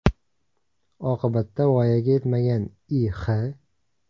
Oqibatda voyaga yetmagan I.X.